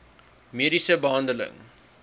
mediese behandeling